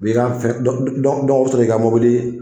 U bɛ i nka fɛn u bɛ sɔrɔ k'i ka mobili